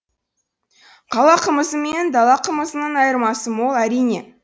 қала қымызы мен дала қымызының айырмасы мол әрине